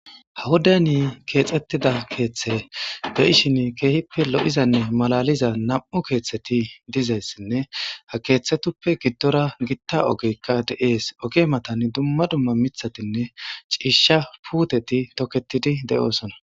ha wuday ni keexettida keeththe beishin keehippe lo7izanne malaliza nam7u keeththeti dizayssinne ha keeththetuppe giddora gitta ogeykka de7ees oge matan dumma dumma mithatinne ciisha puuteti toketidi de7oosona